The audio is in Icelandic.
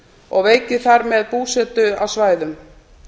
og veiki þar með búsetu á svæðum